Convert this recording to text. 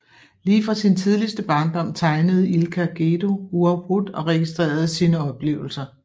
Lige fra sin tidligste barndom tegnede Ilka Gedő uafbrudt og registrerede sine oplevelser